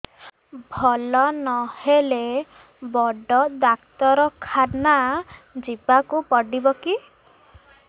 ଭଲ ନହେଲେ ବଡ ଡାକ୍ତର ଖାନା ଯିବା କୁ ପଡିବକି